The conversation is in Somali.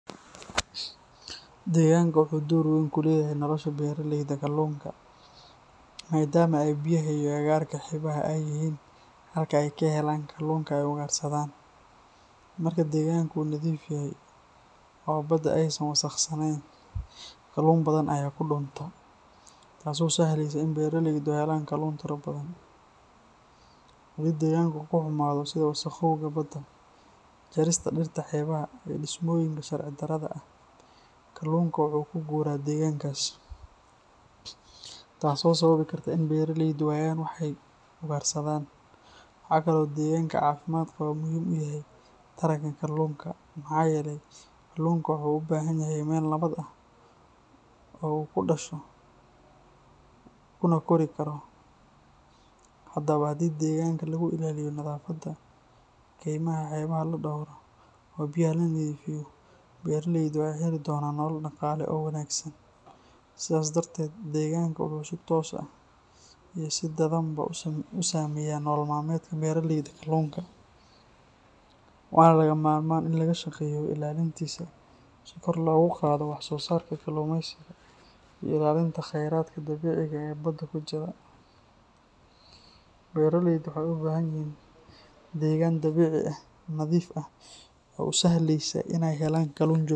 Deegaanka wuxuu door weyn ku leeyahay nolosha beraleyda kalluunka, maadaama ay biyaha iyo agagaarka xeebaha ay yihiin halka ay ka helaan kalluunka ay ugaarsadaan. Marka deegaanka uu nadiif yahay oo badda aysan wasakhaysnayn, kalluun badan ayaa ku dhuunta, taasoo sahlaysa in beraleydu helaan kalluun tiro badan. Haddii deegaanka uu xumaado, sida wasakhowga badda, jarista dhirta xeebaha, iyo dhismooyinka sharci darrada ah, kalluunka wuu ka guuraa deegaankaas, taasoo sababi karta in beraleydu waayaan wax ay ugaarsadaan. Waxaa kale oo deegaanka caafimaad qaba uu muhiim u yahay taranka kalluunka, maxaa yeelay kalluunka wuxuu u baahan yahay meel nabad ah oo uu ku dhasho kuna kori karo. Haddaba, haddii deegaanka lagu ilaaliyo nadaafadda, kaymaha xeebaha la dhowro, oo biyaha la nadiifiyo, beraleydu waxay heli doonaan nolol dhaqaale oo wanaagsan. Sidaas darteed, deegaanka wuxuu si toos ah iyo si dadbanba u saameeyaa nolol maalmeedka beraleyda kalluunka, waana lagama maarmaan in laga shaqeeyo ilaalintiisa si kor loogu qaado wax soo saarka kalluumaysiga iyo ilaalinta kheyraadka dabiiciga ah ee badda ku jira. Beraleydu waxay u baahan yihiin deegaan dabiici ah, nadiif ah oo u sahlaya inay helaan kalluun joogto.